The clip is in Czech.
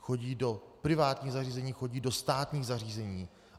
Chodí do privátních zařízení, chodí do státních zařízení.